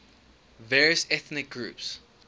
various ethnic groups